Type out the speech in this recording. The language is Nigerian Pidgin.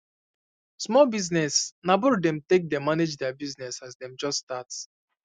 small business na borrow them take dey manage there business as them just start